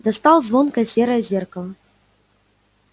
достал звонкое серое зеркало